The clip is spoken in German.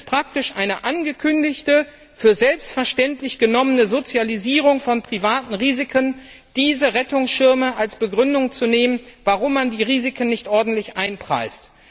Es kommt praktisch einer angekündigten, für selbstverständlich genommenen Sozialisierung von privaten Risiken gleich, wenn diese Rettungsschirme als Begründung dafür angeführt werden, warum man die Risiken nicht ordentlich einpreist.